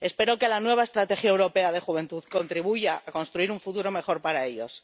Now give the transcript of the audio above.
Espero que la nueva estrategia europea para la juventud contribuya a construir un futuro mejor para ellos.